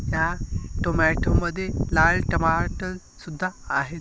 त्या टोमॅटो मध्ये लाल टमाटर सुद्धा आहेत.